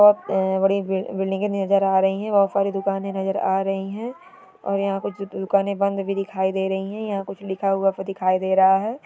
बहुत बड़ी बड़ी बिल्डिंगें नजर आ रही हैं| बहुत सारी दुकानें नजर आ रही हैं और यहां कुछ दुकानें बंद भी दिखाई दे रही हैं| यहां कुछ लिखा हुआ सा दिखाई दे रहा है|